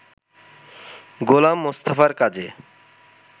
গোলাম মোস্তফার কাজে